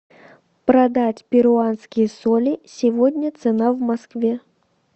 продать перуанские соли сегодня цена в москве